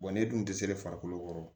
Wa ne dun tɛ se farikolo kɔrɔ